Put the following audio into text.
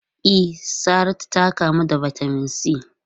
E, Saratu ta kamu da Vitamin C.